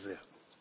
Bitte sehr!